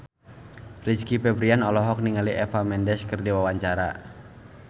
Rizky Febian olohok ningali Eva Mendes keur diwawancara